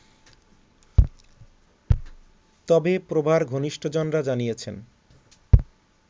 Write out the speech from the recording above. তবে প্রভার ঘনিষ্টজনরা জানিয়েছেন